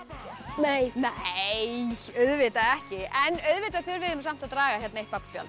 nei nei auðvitað ekki auðvitað þurfið þið samt að draga hérna eitt